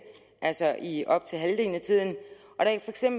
altså i op til halvdelen af tiden